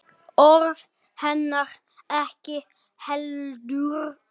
Orð hennar ekki heldur.